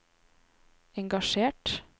engasjert